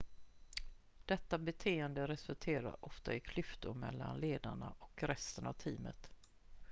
detta beteende resulterar ofta i klyftor mellan ledarna och resten av teamet